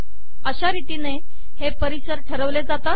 अशा रितीने हे पर्यावरण ठरवले जाते